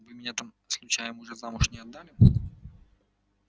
вы меня там случаем уже замуж не отдали